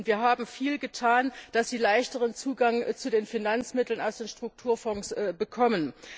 Wir haben viel dafür getan, dass sie leichteren Zugang zu den Finanzmitteln aus den Strukturfonds bekommen.